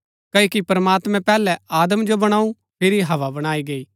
क्ओकि प्रमात्मैं पैहलै आदम जो बणाऊ फिरी हव्वा बणाई गैई